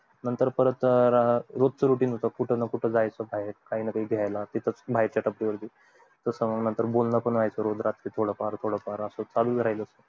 परत रोज च routine होत कुठे ना कुठे जायचं बाहेर काही ना काही घायला तिथे च भाई च्या टपरी वर घ्याला नंतर बोलणं पण होयच रोज रात्री असच थोडं फार थोडं फार असं चालू च राहील